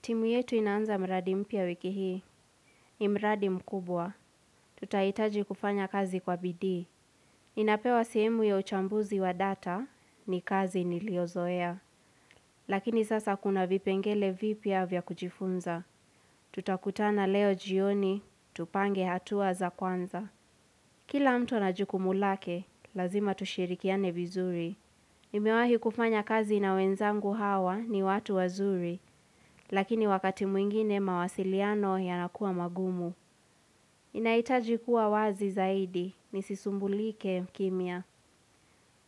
Timu yetu inaanza mradi mpya wiki hii, ni mradi mkubwa. Tutahitaji kufanya kazi kwa bidii. Inapewa sehemu ya uchambuzi wa data, ni kazi niliyozoea. Lakini sasa kuna vipengele vipya vya kujifunza. Tutakutana leo jioni, tupange hatua za kwanza. Kila mtu ana jukumu lake, lazima tushirikiane vizuri. Nimewahi kufanya kazi na wenzangu hawa, ni watu wazuri. Lakini wakati mwingine mawasiliano yanakuwa magumu. Nahitaji kuwa wazi zaidi, nisisumbulike kimya.